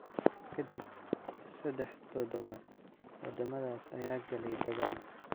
Ka dib saddex toddobaad, waddamadaas ayaa galay dagaal.